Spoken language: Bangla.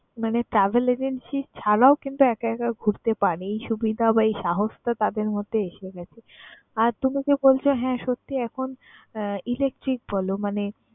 মানে travel agency ছাড়াও কিন্তু একা একা ঘুরতে পারে, এই সুবিধা বা এই সাহসটা তাদের মধ্যে এসে গেছে। আর তুমি যে বলছো হ্যাঁ, সত্যিই এখন আহ electric বলো মানে